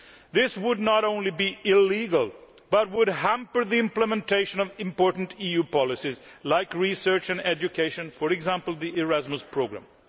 This would not only be illegal but would hamper the implementation of important EU policies like research and education for example the Erasmus programme.